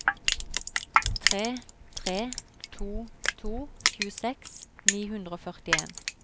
tre tre to to tjueseks ni hundre og førtien